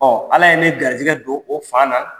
Ɔ ala ye ne garijɛgɛ don o fan na.